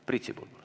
Priit Sibul.